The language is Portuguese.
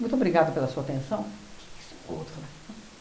Muito obrigada pela sua atenção. Que isso? O outro fala, não.